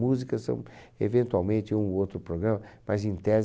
Músicas são, eventualmente, um ou outro programa, mas, em tese,